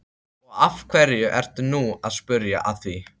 Og af hverju ertu nú að spyrja að því?